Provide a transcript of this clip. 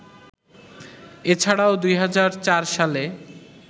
এছাড়াও ২০০৪ সালে